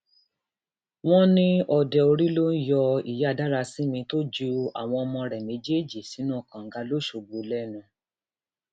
wọn ní òdeorí ló ń yọ ìyá dárásímì tó ju àwọn ọmọ rẹ méjèèjì sínú kànga lọsọgbó lẹnu